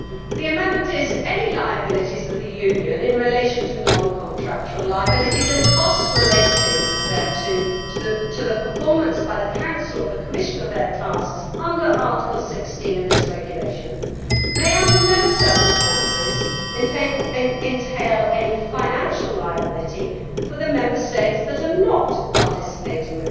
The amendment is Any liabilities of the Union in relation to non contractual liabilities and costs related thereto relating to the performance by the Council or the Commission of their tasks under Article 16 of this Regulation may under no circumstances entail any financial liability for the Member States that are not participating